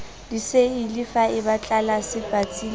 diseili faeba tlelase patsi le